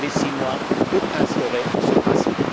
Vous avez six mois pour instaurer ce principe.